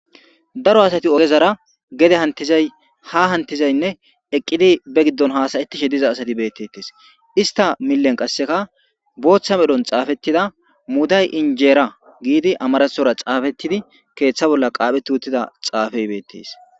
Daro asati ogezara gede hantizay ha hantizaynne eqqidi be giddon haasayetishe diza asati beettettes ista millen qasseka booththa medhon xaafettida muday injeera giidi amarasora xaafettidi keeththa bolla qaaphe tuuttida xaafey beettes.